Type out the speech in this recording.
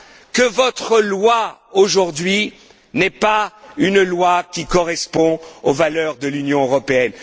Orbán, que votre loi aujourd'hui n'est pas une loi qui correspond aux valeurs de l'Union européenne.